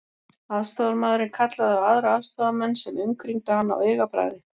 Aðstoðarmaðurinn kallaði á aðra aðstoðarmenn sem umkringdu hann á augabragði.